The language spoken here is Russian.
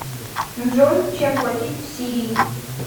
джой чем платить в сирии